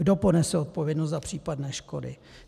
Kdo ponese odpovědnost za případné škody?